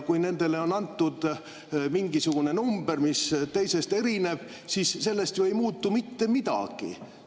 Kui nendele on antud mingisugune number, mis teisest erineb, siis sellest ju ei muutu mitte midagi.